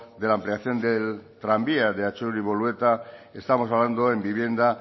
de la ampliación del tranvía de atxuri bolueta estamos hablando en vivienda